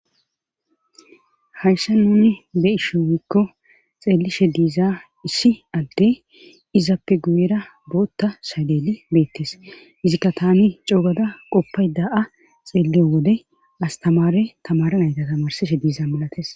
hayssa nuni be ishi wykko xeelishe diiza issi adde izappe guyera bootta shaleeli beettes izikka tani coogada qoppay da7a xeelliyo wode astamare tamaranayta tamarsishe diiza malates